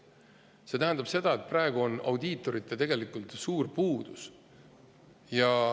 See tähendab seda, et praegu on audiitoritest suur puudus.